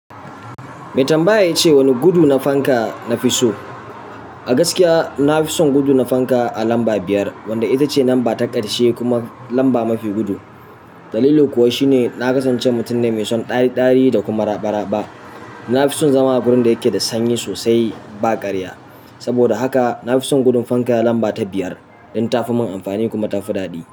Me tambaya ya ce wani gudu na fanka na fi so? A gaskiya na fi son gudu na fanka a lamba biyar, wanda ita ce lamba ta ƙarshe kuma lamba mafi gudu. Dalili kuwa shi ne na kasance mutum ne mai son ɗari-ɗari da kuma raɓa-raɓa. Na fi son zama a wurin da yake da sanyi sosai ba ƙarya. Saboda haka na fi son gudun fanka lamba ta biyar don ta fi mun amfani kuma ta fi daɗi.